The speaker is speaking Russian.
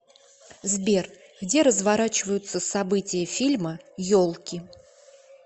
сбер где разворачиваются события фильма елки